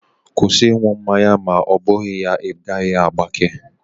Kwụsị ị ṅụ mmanya ma ọ bụghị ya, ị gaghị agbake!